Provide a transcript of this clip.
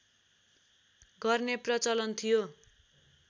गर्ने प्रचलन थियो